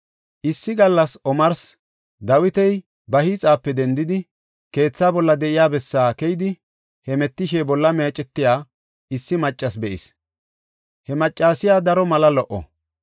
Issi gallas omarsi Dawiti ba hiixape dendidi, keethaa bolla de7iya bessaa keyidi hemetishe bolla meecetiya issi maccasi be7is; he maccasiya daro mala lo77o.